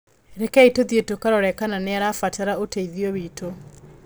Rekei tũthiĩ tũkarore kana nĩ arabatara ũteithio witũ.